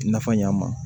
Nafa ɲ'a ma